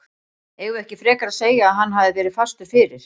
Eigum við ekki frekar að segja að hann hafi verið fastur fyrir?